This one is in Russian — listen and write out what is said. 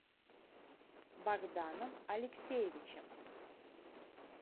богданом алексеевичем